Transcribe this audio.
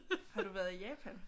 Har du været i Japan?